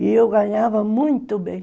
E eu ganhava muito bem.